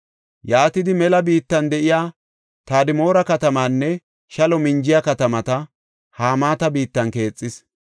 Yaatidi mela biittan de7iya Tadmoora katamaanne shalo minjiya katamata Hamaata biittan keexis.